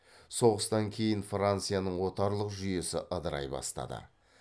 соғыстан кейін францияның отарлық жүйесі ыдырай бастады